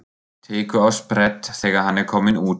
Tekur á sprett þegar hann er kominn út.